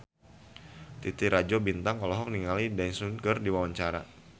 Titi Rajo Bintang olohok ningali Daesung keur diwawancara